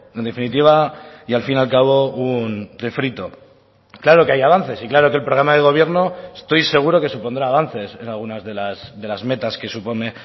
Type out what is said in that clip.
en definitiva y al fin y al cabo un refrito claro que hay avances y claro que el programa de gobierno estoy seguro que supondrá avances en algunas de las metas que supone